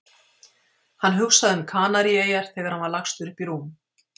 Hann hugsaði um Kanaríeyjar þegar hann var lagstur upp í rúm.